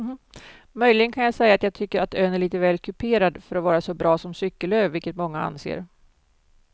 Möjligen kan jag säga att jag tycker att ön är lite väl kuperad för att vara så bra som cykelö vilket många anser.